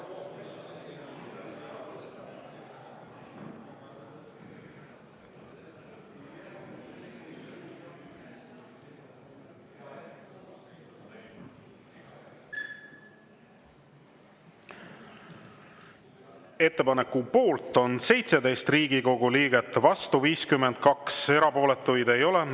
Ettepaneku poolt on 17 Riigikogu liiget, vastu 52, erapooletuid ei ole.